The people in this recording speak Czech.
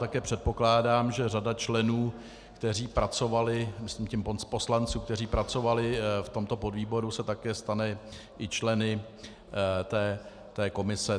Také předpokládám, že řada členů, kteří pracovali, myslím tím poslanců, kteří pracovali v tomto podvýboru, se také stane i členy té komise.